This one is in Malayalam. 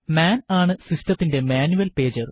മാൻ ആണ് സിസ്റ്റത്തിന്റെ മാനുവൽ പേജർ